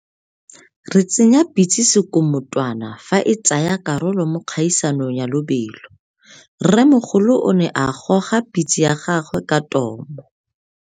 Re tsenya pitse sekumutwana fa e tsaya karolo mo kgaisano ya lobelo. Rremogolo o ne a goga pitse ya gagwe ka tomo.